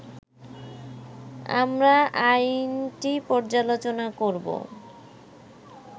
আমরা আইনটি পর্যালোচনা করবো